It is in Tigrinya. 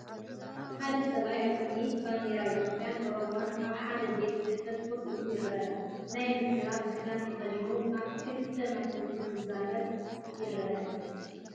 ሓደ ሰብኣይ ኣብ ቅድሚ ባንዴራታት ኢትዮጵያን ኦሮምያን ኣብ ሓደ ቤት ጽሕፈት ኮፍ ኢሉ ይርአ። ናይ ምዝራብ ክዳን ተኸዲኑ ኣብ ክልተ ማይክሮፎን ክዛረብ ይረአ።